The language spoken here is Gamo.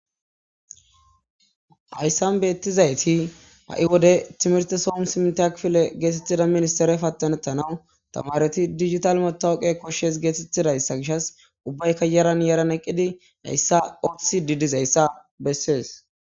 Hayssan betizayti ha'i wode timmirte sohon hosppunta kifile getetiza ministire patanetanaw tamareti digitale matawuqe koshes getetizaysa gishas ubbayka yaran yaran eqqidi heyssa ottisidi dizayisa besses.